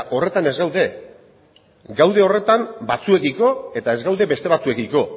horretan ez gaude gaude horretan batzuekiko eta ez gaude beste batzuekiko